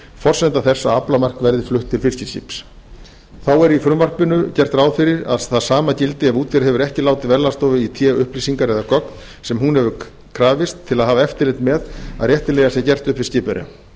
forsenda þess að aflamark verði flutt til fiskiskips þá er í frumvarpinu gert ráð fyrir að hið sama gildi ef útgerð hefur ekki látið verðlagsstofu í té upplýsingar eða gögn sem hún hefur krafist til að hafa eftirlit með að réttilega sé gert upp við skipverja